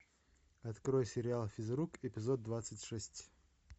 открой сериал физрук эпизод двадцать шесть